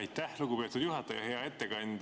Aitäh, lugupeetud juhataja!